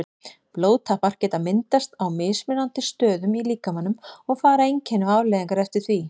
Blóðtappar geta myndast á mismunandi stöðum í líkamanum og fara einkenni og afleiðingar eftir því.